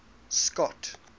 scott